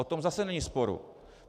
O tom zase není sporu.